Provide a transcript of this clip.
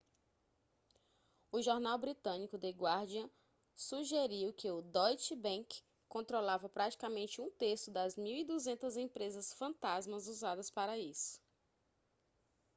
o jornal britânico the guardian sugeriu que o deutsche bank controlava praticamente um terço das 1200 empresas fantasmas usadas para isso